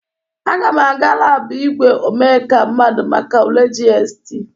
Aga m aga labụ igwe omeka mmadụ make ule GST.